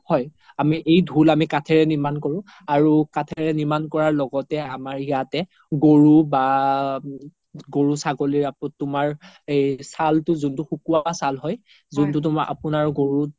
হয় আমি এই ধুল আমি কাথাৰে আমি নিৰ্মান কৰো আৰু কাথাৰে নিৰ্মান কৰাৰ লগ্তে আমাৰ ইয়াতে গৰু বা গৰু ছাগলী আকৌ তুমাৰ চাল্তো তুমাৰ যোনতো সুকুৱা চাল হয় যোনতো তুমাৰ আপোনাৰ গৰুত